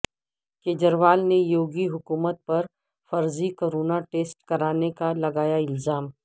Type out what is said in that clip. کیجریوال نے یوگی حکومت پر فرضی کورونا ٹیسٹ کرانے کا لگایا الزام